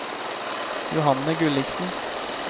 Johanne Gulliksen